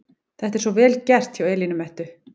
Þetta er svo VEL GERT hjá Elínu Mettu!